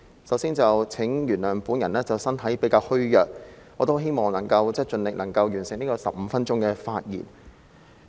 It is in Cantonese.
首先，請原諒我的身體比較虛弱，我希望能夠盡力完成15分鐘的發言。